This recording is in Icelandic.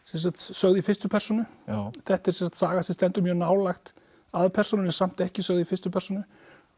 sögð í fyrstu persónu þetta er saga sem stendur mjög nálægt aðalpersónunni samt ekki sögð í fyrstu persónu